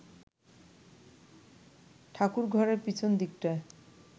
ঠাকুরঘরের পিছন দিকটায়